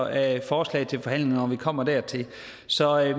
af forslag til forhandlinger når vi kommer dertil så